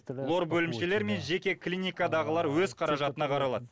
лор бөлімшелері мен жеке клиникадағылар өз қаражатына қаралады